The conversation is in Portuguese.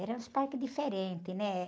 Eram os parques diferentes, né?